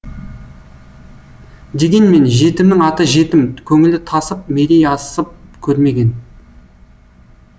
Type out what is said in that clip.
дегенмен жетімнің аты жетім көңілі тасып мерейі асып көрмеген